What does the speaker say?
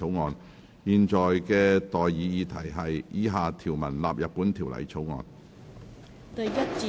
我現在向各位提出的待議議題是：以下條文納入本條例草案。